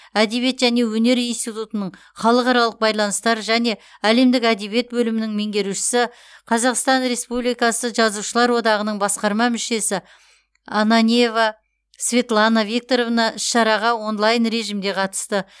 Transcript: әдебиет және өнер институтының халықаралық байланыстар және әлемдік әдебиет бөлімінің меңгерушісі қазақстан республикасы жазушылар одағының басқарма мүшесі ананьева светлана викторовна іс шараға онлайн режимде қатысты